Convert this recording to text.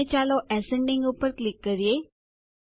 અને ચાલો એસેન્ડિંગ ઉપર ક્લિક કરીએ